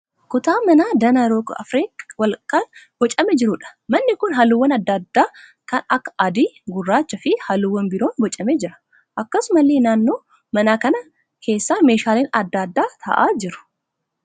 Kutaa manaa danaa roga arfee walakkaan boocamee jiruudha. Manni kun halluuwwaan adda adda addaa kan akka adii, gurraachaa fi halluuwwan biroon boocamee jira. Akkasumallee naannoo mana kana keessa meeshaaleen adda adda ta'aa jiru.